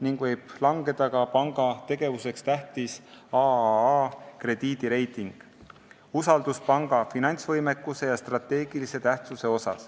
Samuti võib langeda panga tegevuseks oluline AAA-krediidireiting, mis näitab usaldust panga finantsvõimekuse vastu ja strateegilist tähtsust.